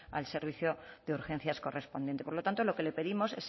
al servicio de urgencias correspondiente por lo tanto lo que le pedimos